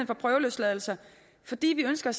for prøveløsladelse fordi vi ønsker